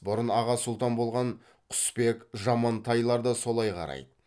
бұрын аға сұлтан болған құсбек жамантайлар да солай қарайды